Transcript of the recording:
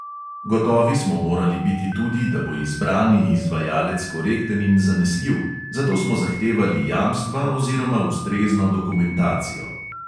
Gotovi smo morali biti tudi, da bo izbrani izvajalec korekten in zanesljiv, zato smo zahtevali jamstva oziroma ustrezno dokumentacijo.